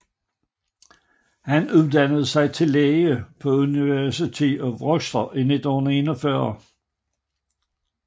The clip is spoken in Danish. Han uddannede sig til læge på University of Rochester i 1941